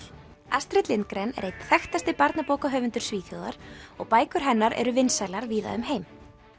astrid Lindgren er einn þekktasti barnabókahöfundur Svíþjóðar og bækur hennar eru vinsælar víða um heim